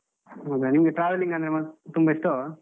ಹೌದಾ? ನಿಮ್ಗೆ travelling ಅಂದ್ರೆ ತುಂಬ ಇಷ್ಟವಾ?